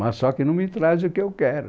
Mas só que não me trazem o que eu quero.